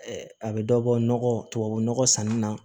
A bɛ dɔ bɔ nɔgɔ tubabu nɔgɔ sanni na